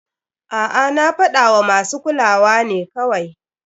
A'a, na fadawa masu kuluwa ne kawai.